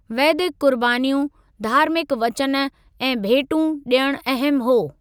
वैदिक कुर्बानियूं, धार्मिक वचन ऐं भेंटू ॾियण अहम हो।